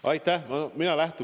Aitäh!